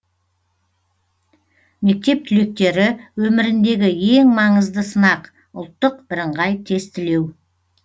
мектеп түлектері өміріндегі ең маңызды сынақ ұлттық бірыңғай тестілеу